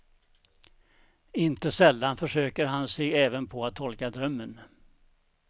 Inte sällan försöker han sig även på att tolka drömmen.